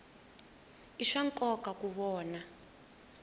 i swa nkoka ku vona